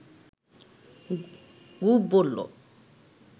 গুপ বলল